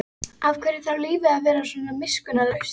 Af hverju þarf lífið að vera svona miskunnarlaust?